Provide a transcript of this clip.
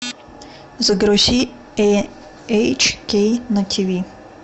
загрузи эйч кей на тв